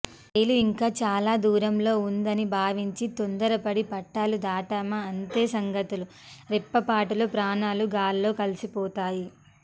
రైలు ఇంకా చాలా దూరంలో ఉందని భావించి తొందరపడి పట్టాలు దాటామా అంతే సంగతులు రెప్పపాటులో ప్రాణాలు గాల్లో కలిసిపోతాయి